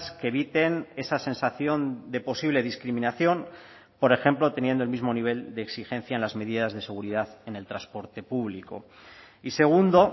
que eviten esa sensación de posible discriminación por ejemplo teniendo el mismo nivel de exigencia en las medidas de seguridad en el transporte público y segundo